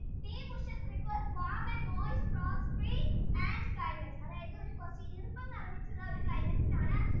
tea bushes requires warm and moist soil and climate അതായതു ഒരു ഈർപ്പം നിറഞ്ഞിട്ടുള ഒരു climate യിൽ ആണ്